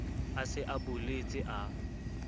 a se a boletse a